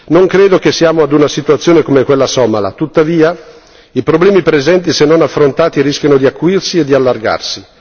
Non credo che siamo ad una situazione come quella somala, tuttavia i problemi presenti, se non affrontati, rischiano di acuirsi e di allargarsi.